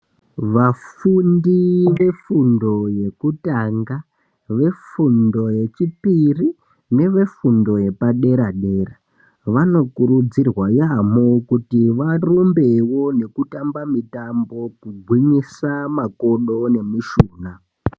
Vafundi ve fundo yekutanga ve fundo ye chipiri neve fundo yepa dera dera vano kurudzirwa yamho kuti varumbewo neku tamba mitambo kugwinyisa makodo ne mishunha .